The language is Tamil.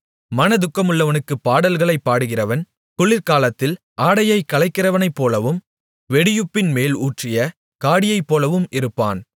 மனதுக்கமுள்ளவனுக்குப் பாடல்களைப் பாடுகிறவன் குளிர்காலத்தில் ஆடையை களைகிறவனைப்போலவும் வெடியுப்பின் மேல் ஊற்றிய காடியைப்போலவும் இருப்பான்